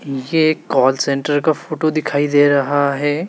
ये एक call centre का फोटो दिखाई दे रहा है।